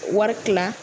Wari kila